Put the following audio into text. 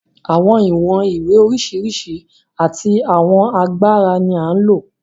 Àwọn ìwọ̀n ìwé oríṣiríṣi àti àwọn agbára ni à ń lò.